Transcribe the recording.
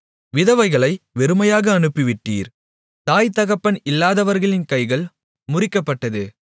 விதவைகளை வெறுமையாக அனுப்பிவிட்டீர் தாய்தகப்பன் இல்லாதவர்களின் கைகள் முறிக்கப்பட்டது